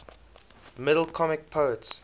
middle comic poets